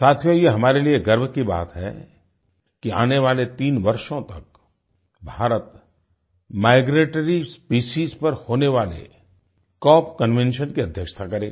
साथियो ये हमारे लिए गर्व की बात है कि आने वाले तीन वर्षों तक भारत माइग्रेटरी स्पेसीज पर होने वाले कॉप कन्वेंशन की अध्यक्षता करेगा